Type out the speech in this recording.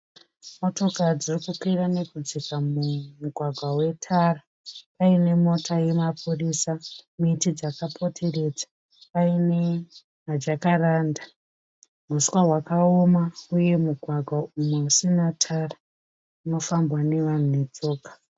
Motokari dziri kukwira nekudzika mumugwagwa wetara. Paine mota yemapurisa, miti dzakapoteredza. Paine maJakaranda, huswa hwakaoma uye mugwagwa uyo usina tara unofambwa nevanhu netsoka.